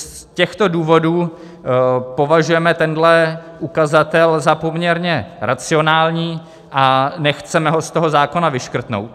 Z těchto důvodů považujeme tenhle ukazatel za poměrně racionální a nechceme ho z toho zákona vyškrtnout.